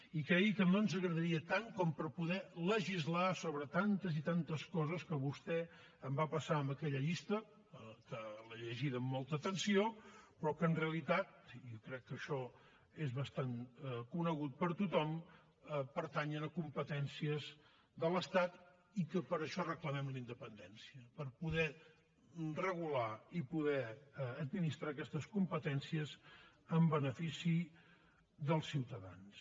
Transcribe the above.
i cregui que no ens agradaria tant com per poder legislar sobre tantes i tantes coses que vostè em va passar en aquella llista que l’he llegida amb molta atenció però que en realitat i jo crec que això és bastant conegut per tothom pertanyen a competències de l’estat i que per això reclamem la independència per poder regular i poder administrar aquestes competències en benefici dels ciutadans